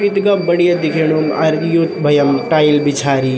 इथगा बढ़िया दिखेणु आरबी यु भयां म टाइल बिछारी।